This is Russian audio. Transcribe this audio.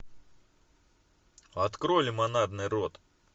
открой лимонадный рот